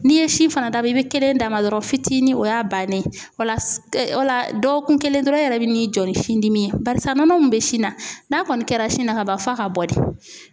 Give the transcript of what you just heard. N'i ye si fana da ma i be kelen d'a ma dɔrɔn fitinin o y'a bannen ye wala dɔgɔ kun kelen dɔrɔn e yɛrɛ be n'i jɔ ni sin dimi ye barisa nɔnɔ mun be sin na n'a kɔni kɛra sin na kaban f'a ka bɔ de.